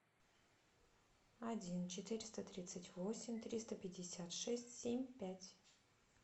один четыреста тридцать восемь триста пятьдесят шесть семь пять